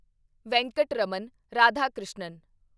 Venkataraman Radhakrishnan